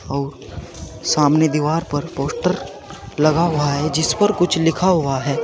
और सामने दीवार पर पोस्टर लगा हुआ है जिस पर कुछ लिखा हुआ है।